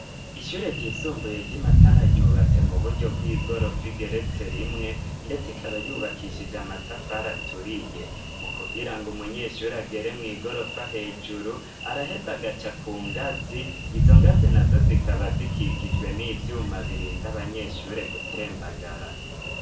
Ishure ryisumbuye ry'i Matana, ryubatse mu buryo bw'igorofa igeretse rimwe, ndetse ikaba yubakishije amatafari aturiye. Mu kugira ngo umunyeshure agere mw'igorofa hejuru, araheze agaca ku ngazi, izo ngazi nazo zikaba zikikijwe n'ivyuma birinda abanyeshure gutembagara.